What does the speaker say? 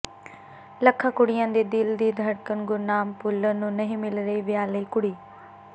ਲੱਖਾਂ ਕੁੜੀਆਂ ਦੇ ਦਿਲ ਦੀ ਧੜਕਣ ਗੁਰਨਾਮ ਭੁੱਲਰ ਨੂੰ ਨਹੀਂ ਮਿਲ ਰਹੀ ਵਿਆਹ ਲਈ ਕੁੜੀ